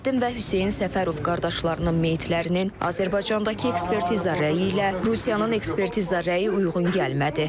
Ziyaəddin və Hüseyn Səfərov qardaşlarının meyitlərinin Azərbaycandakı ekspertiza rəyi ilə Rusiyanın ekspertiza rəyi uyğun gəlmədi.